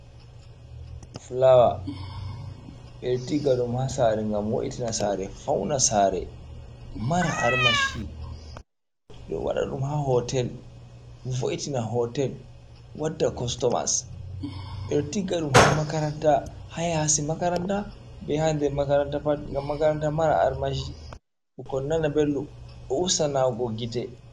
Flower: beɗo tigga ɗum ha sare ngam wo’itina sare, fauna sare mara armashi. Ɓe waɗum ha hotel vo'itina hotel, wadda costumers. Ɓeɗo tigga ɗum ha makaranta, ha yasi makaranta, bei ha nder makaranta pat ngam makaranta mara armashi ɓikkon nana belɗum ɗo usta nawugo gite.